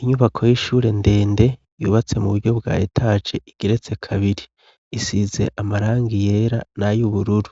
Inyubako y'ishure ndende yubatse mu buryo bwa etaje igeretse kabiri. Isize amarangi yera nay'ubururu,